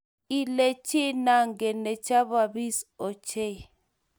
Ii chito nangen ne chepnyambis ochei